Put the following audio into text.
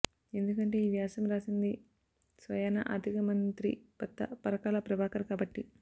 ఎందుకంటే ఈ వ్యాసం రాసింది స్వయానా ఆర్ధిక మంత్రి భర్త పరకాల ప్రభాకర్ కాబట్టి